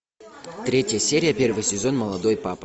третья серия первый сезон молодой папа